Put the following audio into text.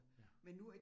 Ja